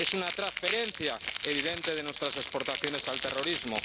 Es una transferencia evidente de nuestras exportaciones al terrorismo.